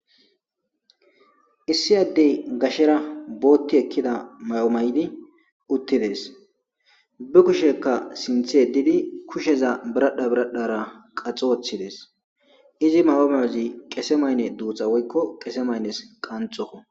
Issi addey gashera bootti ekkida may7omay7di uttidees bi kushekka sinthe edidi kusheza biradha biradhara qaxoothidees izi mahomeozi qese maynne duutha woykko qese maynnes qanxoko.